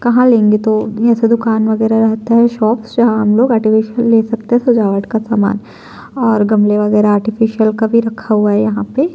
कहां लेंगे तो भी ऐसा दुकान वगैरा रहता है शॉप से हम लोग आर्टिफिशियल ले सकते हैं सजावट का सामान और गमले वगैरा आर्टिफिशियल कभी रखा हुआ है यहाँ पे--